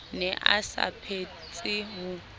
ne a sa phetse ho